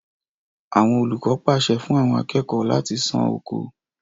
Àwọn olùkọ pàṣẹ fún àwọn akẹ́kọ̀ọ́ láti sán oko.